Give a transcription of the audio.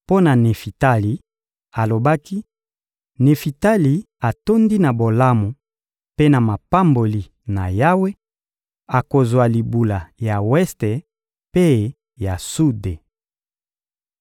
Mpo na Nefitali alobaki: «Nefitali atondi na bolamu mpe na mapamboli na Yawe, akozwa libula ya weste mpe ya sude.»